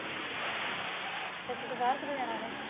ਬਾਹਰ ਕਦੋ ਜਾਣਾ ਉਹਨੇ?